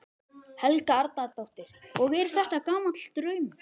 Helga Arnardóttir: Og er þetta gamall draumur?